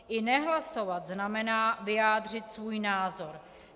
I nehlasovat znamená vyjádřit svůj názor.